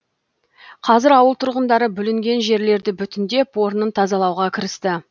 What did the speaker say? қазір ауыл тұрғындары бүлінген жерлерді бүтіндеп орнын тазалауға кірісті